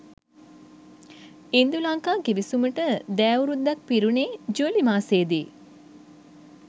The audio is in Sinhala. ඉන්දු ලංකා ගිවිසුමට දෑවුරුද්දක් පිරුණේජූලි මාසයේදීය